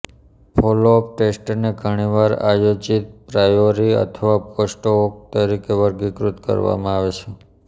follow up ટેસ્ટને ઘણીવાર આયોજિત પ્રાયોરી અથવા પોસ્ટ હોક તરીકે વર્ગીકૃત કરવામાં આવે છે